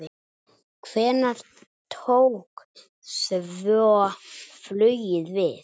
Hvenær tók svo flugið við?